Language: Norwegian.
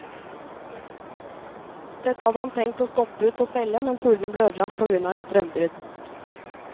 Dette hadde han tenkt å stoppe ut og selge, men fuglene ble ødelagt på grunn av et strømbrudd.